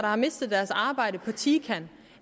har mistet deres arbejde på tican